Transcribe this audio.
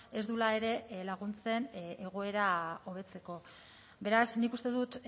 ez duela ere laguntzen egoera hobetzeko beraz nik uste dut